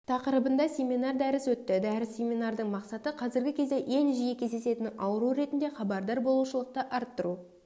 тақырыбында семинар-дәріс өтті дәріс-семинардың мақсаты қазіргі кезде ең жиі кездесетін ауру ретінде хабардар болушылықты арттыру